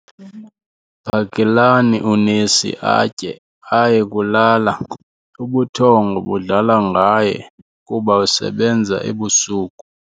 Phakelani unesi atye aye kulala ubuthongo budlala ngaye kuba usebenza ebusuku.